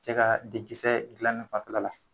Cɛ ka dekisɛ dilanli fan fɛla la.